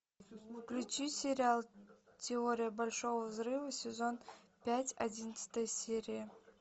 включи сериал теория большого взрыва сезон пять одиннадцатая серия